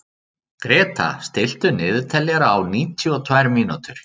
Gréta, stilltu niðurteljara á níutíu og tvær mínútur.